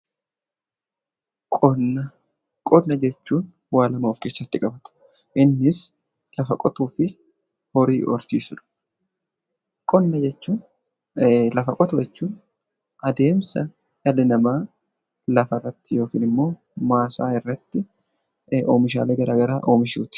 Qonna Qonna jechuun waan lama of keessatti qaba. Innis lafa qotuu fi horii horsiisuudha. Qonna jechuun adeemsa lafa irratti yookaan immoo maasaa irratti oomishaalee garaagaraa oomishuuti.